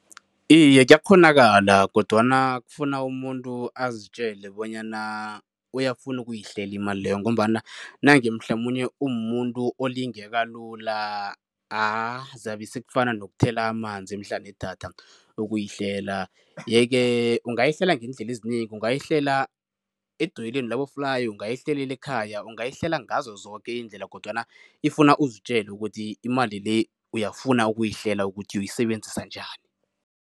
Iye, kuyakghonakala kodwana kufuna umuntu azitjele bonyana uyafuna ukuyihlela imali leyo ngombana nange mhlamunye umumuntu olingeka lula ah zabe sekufana nokuthela amanzi emhlana wedada ukuyihlela. Yeke ungayihlela ngeendlela ezinengi, ungayihlela edolweni laboflayi, ungayihlelela ekhaya, ungayihlela ngazo zoke iindlela kodwana ifuna uzitjele ukuthi imali le, uyafuna ukuyihlela ukuthi uyoyisebenzisa njani.